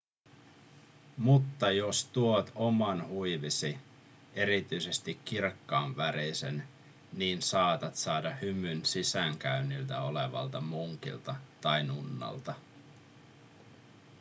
mutta jos tuot oman huivisi erityisesti kirkkaanvärisen niin saatat saada hymyn sisäänkäynnillä olevalta munkilta tai nunnalta